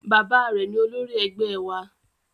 Bàbá rẹ̀ ni olórí ẹgbẹ́ wa